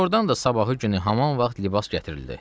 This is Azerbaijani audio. Doğurdan da sabahı günü hamam vaxt libas gətirildi.